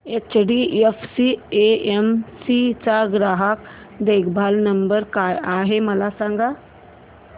HDFC AMC चा ग्राहक देखभाल नंबर काय आहे मला सांग